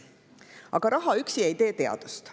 Aga raha üksi ei tee teadust.